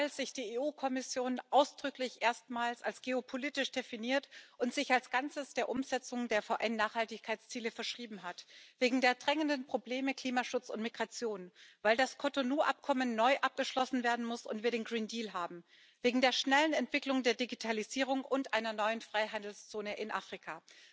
Weil sich die EU Kommission ausdrücklich erstmals als geopolitisch definiert und sich als Ganzes der Umsetzung der VN Nachhaltigkeitsziele verschrieben hat, wegen der drängenden Probleme Klimaschutz und Migration, weil das Cotonou Abkommen neu abgeschlossen werden muss und wir den haben, wegen der schnellen Entwicklung der Digitalisierung und einer neuen Freihandelszone in Afrika.